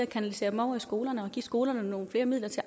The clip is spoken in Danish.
kanaliseret dem over i skolerne og skolerne nogle flere midler til